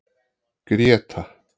Gréta